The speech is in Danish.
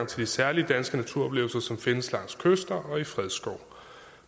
de særlige danske naturoplevelser som findes langs kyster og i fredskov